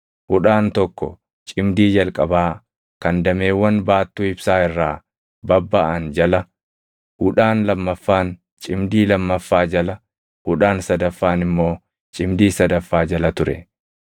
Hudhaan tokko cimdii jalqabaa kan dameewwan baattuu ibsaa irraa babbaʼan jala, hudhaan lammaffaan cimdii lammaffaa jala, hudhaan sadaffaan immoo cimdii sadaffaa jala ture; walumaa galatti dameewwan jaʼatu ture.